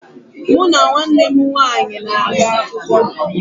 Mụ na nwanne m nwaanyị na-aga akwụkwọ